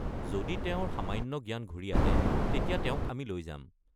যদি তেওঁৰ সামান্য জ্ঞান ঘূৰি আহে, তেতিয়া তেওঁক আমি লৈ যাম।